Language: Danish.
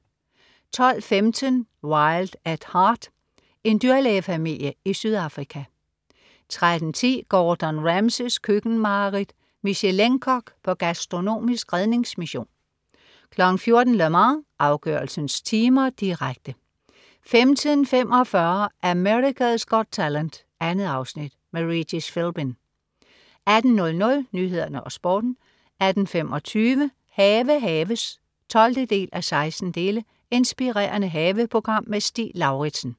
12.15 Wild at Heart. En dyrlægefamilie i Sydafrika 13.10 Gordon Ramsays køkkenmareridt. Michelin-kok på gastronomisk redningsmission 14.00 Le Mans, afgørelsens timer, direkte 15.45 America's Got Talent. 2 afsnit. Regis Philbin 18.00 Nyhederne og Sporten 18.25 Have haves 12:16. Inspirerende haveprogram. Stig Lauritsen